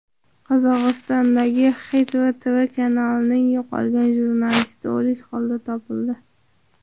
Qozog‘istondagi Hit tv kanalining yo‘qolgan jurnalisti o‘lik holda topildi.